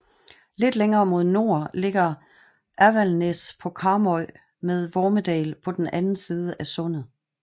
Lidt længere mod nord ligger Avaldsnes på Karmøy med Vormedal på den anden side af sundet